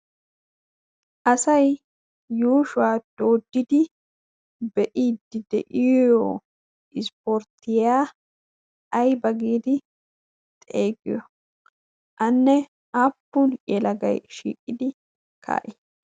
Asay yuushuwa dooddidi be'iiddi de'iyo ispporttiya ayba giidi xeesiyo? Anne aappun yelagay shiiqidi kaa'ii?